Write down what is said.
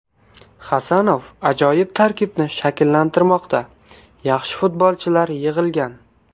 Hasanov ajoyib tarkibni shakllantirmoqda, yaxshi futbolchilar yig‘ilgan.